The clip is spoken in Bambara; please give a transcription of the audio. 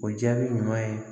O jaabi ɲuman ye